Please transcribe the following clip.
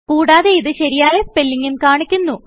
കുടാതെ ഇത് ശരിയായ സ്പെല്ലിങ്ങും കാണിക്കുന്നു